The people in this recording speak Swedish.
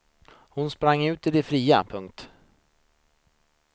Hon sprang ut i det fria. punkt